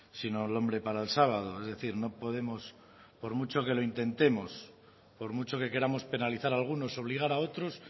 sino el hombre para el sábado es decir no podemos por mucho que lo intentemos por mucho que queramos penalizar a algunos obligar a otros